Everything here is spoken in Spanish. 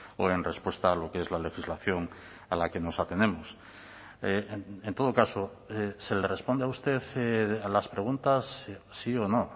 o en respuesta a lo que es la legislación a la que nos atenemos en todo caso se le responde a usted a las preguntas sí o no